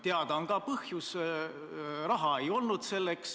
Teada on ka põhjus: raha ei olnud.